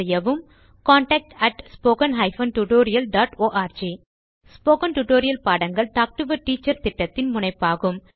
contact spoken hyphen tutorial dot org spoken tutorial பாடங்கள் talk to a teacher திட்டத்தின் முனைப்பாகும்